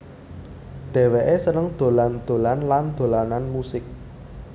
Dhèwèké seneng dolan dolan lan dolanan musik